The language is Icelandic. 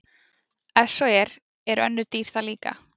Ef svo er, eru önnur dýr það líka?